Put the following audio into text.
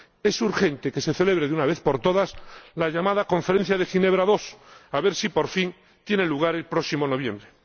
es urgente que se celebre de una vez por todas la llamada Conferencia de Ginebra II —a ver si, por fin, tiene lugar el próximo noviembre—.